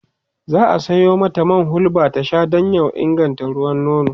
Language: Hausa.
za'a Sayo mata man hulba ta Sha Dan ya inganta ruwan nono